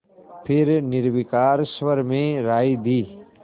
फिर निर्विकार स्वर में राय दी